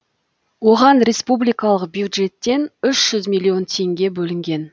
оған республикалық бюджеттен үш жүз миллион теңге бөлінген